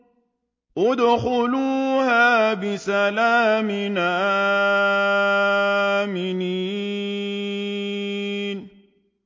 ادْخُلُوهَا بِسَلَامٍ آمِنِينَ